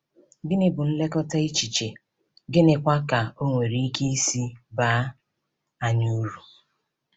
Gịnị bụ nlekọta echiche, gịnịkwa ka o nwere ike isi baa anyị uru?